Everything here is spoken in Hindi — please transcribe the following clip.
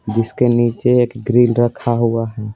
जिसके नीचे एक ग्रिल रखा हुआ है।